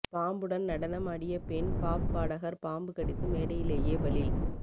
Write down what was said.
பாம்புடன் நடனம் ஆடிய பெண் பாப் பாடகர் பாம்பு கடித்து மேடையிலேயே பலி